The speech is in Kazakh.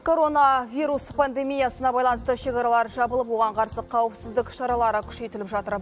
коронавирус пандемиясына байланысты шекаралар жабылып оған қарсы қауіпсіздік шаралары күшейтіліп жатыр